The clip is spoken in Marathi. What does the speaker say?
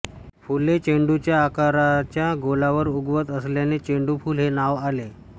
फुले चेंडूच्या आकाराच्या गोलावर उगवत असल्याने चेंडूफुल हे नाव आले